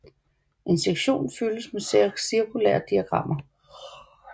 En sektion fyldt med cirkulære diagrammer